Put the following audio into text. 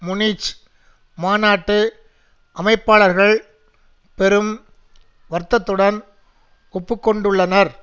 Munich மாநாட்டு அமைப்பாளர்கள் பெரும் வருத்தத்துடன் ஒப்பு கொண்டுள்ளனர்